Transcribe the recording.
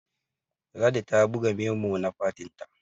ladi ta buga memo na fatinta